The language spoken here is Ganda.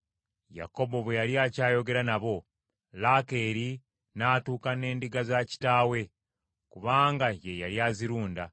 Yakobo bwe yali akyayogera nabo, Laakeeri n’atuuka n’endiga za kitaawe. Kubanga ye yali azirunda.